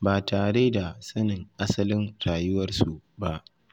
ba tare da sanin asalin rayuwarsu ba.